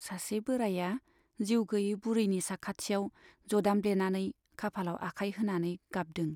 सासे बोराइया जिउ गैयै बुरैनि साखाथियाव जदामब्लेनानै खाफालाव आखाय होनानै गाबदों।